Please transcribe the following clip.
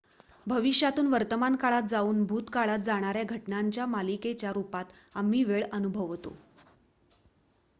भविष्यातून वर्तमानकाळात जाऊन भूतकाळात जाणार्‍या घटनांच्या मालिकेच्या रुपात आम्ही वेळ अनुभवतो